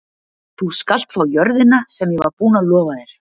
Þú skalt fá jörðina sem ég var búinn að lofa þér.